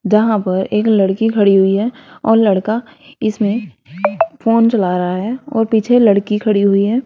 जहां पर एक लड़की खड़ी हुई है और लड़का इसमें फोन चला रहा है और पीछे लड़की खड़ी हुई है।